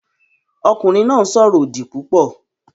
Ọkùnrin náà ń sọ̀rọ̀ òdì púpọ̀